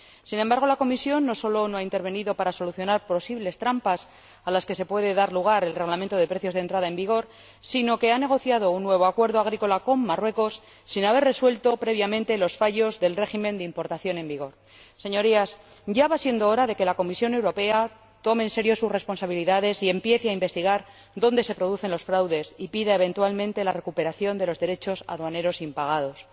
Sin embargo, la Comisión no sólo no ha intervenido para solucionar posibles trampas a las que puede dar lugar el Reglamento de precios de entrada en vigor, sino que ha negociado un nuevo acuerdo agrícola con Marruecos sin haber resuelto previamente los fallos del régimen de importación vigente. Señorías, ya va siendo hora de que la Comisión Europea tome en serio sus responsabilidades y empiece a investigar dónde se producen los fraudes, y pida, eventualmente, la recuperación de los derechos aduaneros impagados.